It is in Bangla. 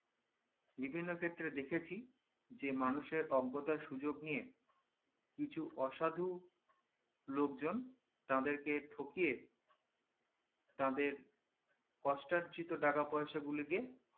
বিভিন্ন ক্ষেত্রে দেখেছি যে মানুষের অজ্ঞতা সুযোগ নিয়ে কিছু অসাধু লোকজন তাদেরকে ঠগিয়ে তাদের কোস্টার্চিত টাকা পয়সাগুলি কে